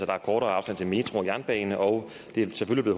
der er kortere afstand til metro og jernbane og det er selvfølgelig